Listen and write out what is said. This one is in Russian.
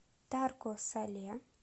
тарко сале